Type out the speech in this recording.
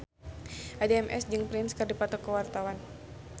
Addie MS jeung Prince keur dipoto ku wartawan